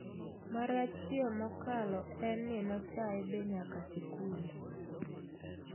Marachie mokalo en ni nochae be nyaka sikul.